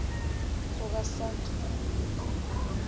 okasandile